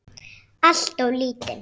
Alltof lítinn.